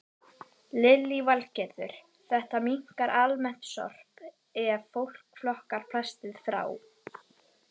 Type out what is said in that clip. Lillý Valgerður: Þetta minnkar almennt sorp ef fólk flokkar plastið frá?